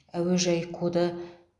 әуежай коды